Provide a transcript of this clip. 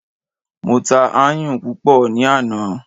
Mo ta ayùn púpọ̀ ní àná.